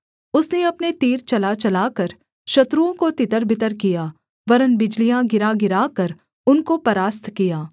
उसने अपने तीर चलाचलाकर शत्रुओं को तितरबितर किया वरन् बिजलियाँ गिरा गिराकर उनको परास्त किया